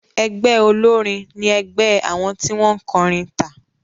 Ẹgbẹ́ olórin ní ẹgbé àwọn tí wọ́n kọrin tà.